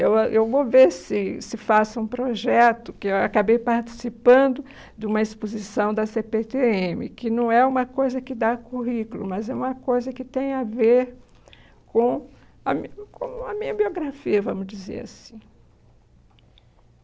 Eu ah eu vou ver se se faço um projeto, que eu acabei participando de uma exposição da cê pê tê eme, que não é uma coisa que dá currículo, mas é uma coisa que tem a ver com a min com a minha biografia, vamos dizer assim.